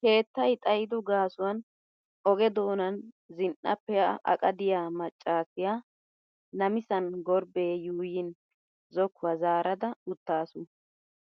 Keettay xayido gaasuwan oge doonan zin"a pee"a aqa diya maccaasiya namisan gorbbee yuuyin zokkuwa zaarada uttaasu.